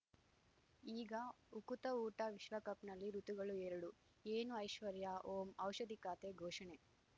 ಈಗ ಉಕುತ ಊಟ ವಿಶ್ವಕಪ್‌ನಲ್ಲಿ ಋತುಗಳು ಎರಡು ಏನು ಐಶ್ವರ್ಯಾ ಓಂ ಔಷಧಿ ಖಾತೆ ಘೋಷಣೆ